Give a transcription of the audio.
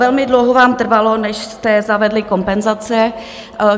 Velmi dlouho vám trvalo, než jste zavedli kompenzace.